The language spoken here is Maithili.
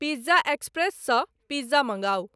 पिज्जा एक्स्प्रेस सॅ पिज्जा मंगाऊ ।